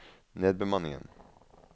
nedbemanningen